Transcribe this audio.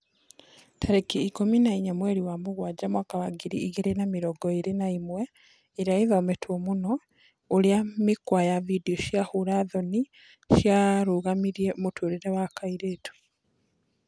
Tarĩki ikũmi na inya mweri wa Mũgwanja mwaka wa ngiri igĩri na mĩrongo ĩri na ĩmwe, ĩria ĩthometwo mũno: ũrĩa mĩkwa ya video cia hũra thoni ciarũgamirie mũtũrĩre wa kairĩtu